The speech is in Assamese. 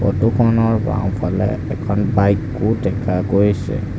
ফটোখনৰ বাওঁফালে এখন বাইকো দেখা গৈছে।